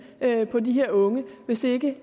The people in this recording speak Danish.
på de her unge hvis ikke